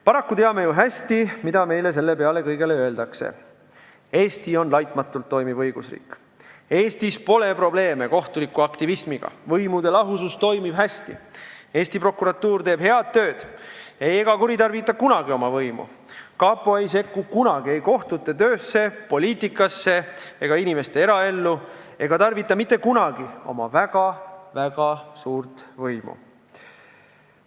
Paraku teame ju hästi, mida meile selle kõige peale öeldakse: Eesti on laitmatult toimiv õigusriik, Eestis pole probleeme kohtuliku aktivismiga, võimude lahusus toimib hästi, Eesti prokuratuur teeb head tööd ega kuritarvita kunagi oma võimu, kapo ei sekku kunagi ei kohtute töösse, poliitikasse ega inimeste eraellu ega tarvita mitte kunagi oma väga-väga suurt võimu.